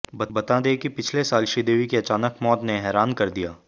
बता दें कि पिछले साल श्रीदेवी की अचानक मौत ने हैरान कर दिया